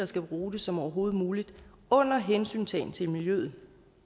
skal bruge det som overhovedet muligt under hensyntagen til miljøet